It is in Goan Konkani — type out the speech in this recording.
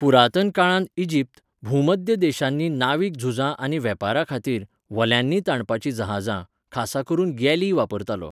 पुरातन काळांत इजिप्त, भूमध्य देशांनी नावीक झुजां आनी वेपाराखातीर, व्हल्यांनी ताणपाचीं जहाजां, खासा करून गॅली, वापरतालो.